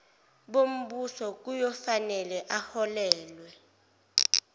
bombuso kuyofanele aholelwe